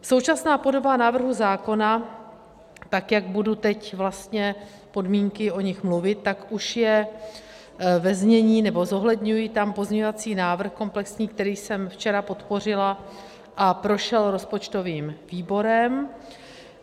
Současná podoba návrhu zákona, tak jak budu teď vlastně podmínky, o nich mluvit, tak už je ve znění, nebo zohledňuji tam pozměňovací návrh komplexní, který jsem včera podpořila a prošel rozpočtovým výborem.